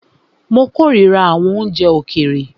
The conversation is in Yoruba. Mó kòrira àwọn oúnjẹ òkèèrè.